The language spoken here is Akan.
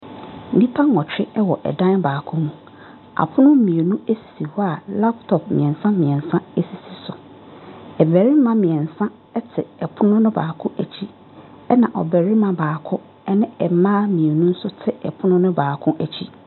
Nnipa nwɔtwe wɔ ɛdan baako mu. Apono mmienu sisi hɔ a laptɔp mmiensa mmiensa asisi so. Mmarima mmiensa eti ɛpono baako akyi. Ena ɔbarima baako ɛne mmaa mmienu te ɛpono baako akyi.